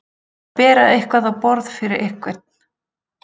Að bera eitthvað á borð fyrir einhvern